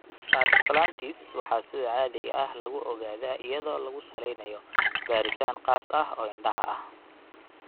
Pars planitis waxaa sida caadiga ah lagu ogaadaa iyadoo lagu salaynayo baaritaan khaas ah oo indhaha ah.